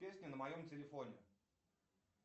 песню на моем телефоне